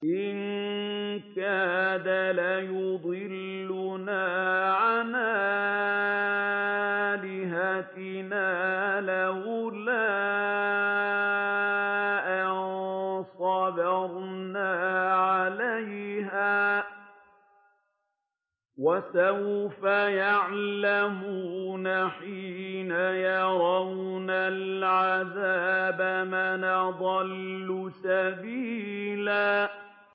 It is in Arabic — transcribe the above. إِن كَادَ لَيُضِلُّنَا عَنْ آلِهَتِنَا لَوْلَا أَن صَبَرْنَا عَلَيْهَا ۚ وَسَوْفَ يَعْلَمُونَ حِينَ يَرَوْنَ الْعَذَابَ مَنْ أَضَلُّ سَبِيلًا